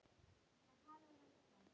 Þín systa, Guðný Ruth.